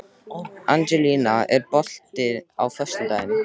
Angelína, er bolti á föstudaginn?